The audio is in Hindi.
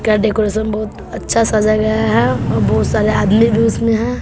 यह डेकोरेशन बहोत अच्छा सजा गया है और बहोत सारे आदमी भी उसमें हैं।